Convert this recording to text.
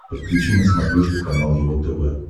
подключи на смотрешке канал его тв